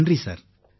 நன்றி சார்